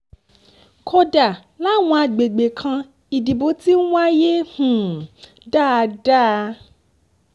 kódà làwọn àgbègbè kan ìdìbò ti ń wáyé um dáadáa